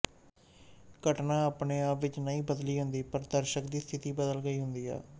ਘਟਨਾ ਆਪਣੇ ਆਪ ਵਿੱਚ ਨਹੀਂ ਬਦਲੀ ਹੁੰਦੀ ਪਰ ਦਰਸ਼ਕ ਦੀ ਸਥਿਤੀ ਬਦਲ ਗਈ ਹੁੰਦੀ ਹੈ